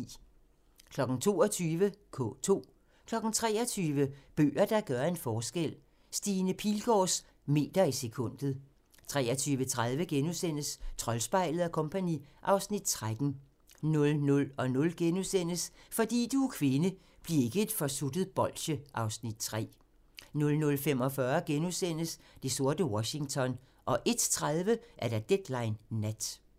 22:00: K2 23:00: Bøger, der gør en forskel: Stine Pilgaards "Meter i sekundet" 23:30: Troldspejlet & Co. (Afs. 13)* 00:00: Fordi du er kvinde: Bliv ikke et forsuttet bolsje (Afs. 3)* 00:45: Det sorte Washington * 01:30: Deadline Nat